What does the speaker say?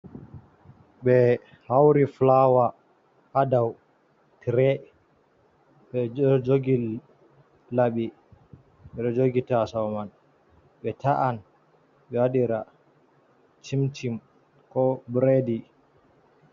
Ɓe hauri fulawa ha dou tire ɓeɗo jogi laɓiji ɓeɗo jogi taso man ɓe ta’an ɓe waɗira chimchim ko biredi.